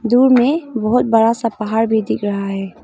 दूर में बहुत बड़ा सा पहाड़ भी दिख रहा है।